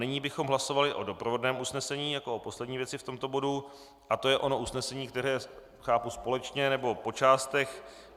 Nyní bychom hlasovali o doprovodném usnesení jako o poslední věci v tomto bodu a je to ono usnesení, které chápu společně, nebo po částech.